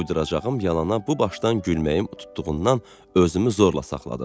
Uyduracağım yalana bu başdan gülməyim tutduğundan özümü zorla saxladım.